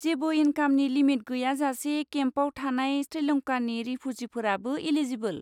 जेबो इनकामनि लिमिट गैयाजासे केम्पआव थानाय श्रीलंकानि रिफुजिफोराबो एलिजिबोल।